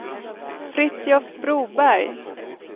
Fritiof Broberg